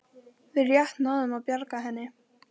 Við rétt náðum að bjarga henni